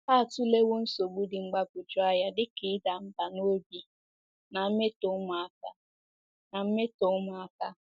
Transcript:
Atụlewo nsogbu dị mgbagwoju anya dị ka ịda mbà n’obi na mmetọ ụmụaka. na mmetọ ụmụaka.